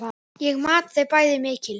Ég mat þau bæði mikils.